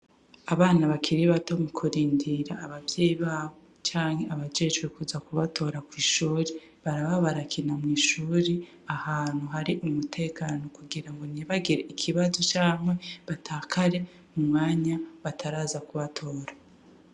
Abana bakiri bato mukurindira abavyeyi babo canke abajejwe kuza kubatora kw'ishure, baraba barakina mw'ishure, ahantu hari umutekano kugira ntibagire ikibazo canke batakare mu mwanya bataraza kubatora.